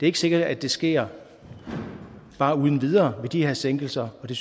ikke sikkert at det sker bare uden videre med de her sænkelser så